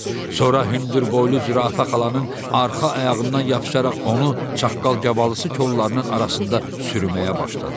Sonra hündürboylu zürafə xalanın arxa ayağından yapışaraq onu çaqqal qavalısı kollarının arasında sürməyə başladı.